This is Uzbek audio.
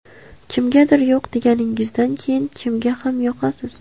Kimgadir yo‘q deganingizdan keyin kimga ham yoqasiz.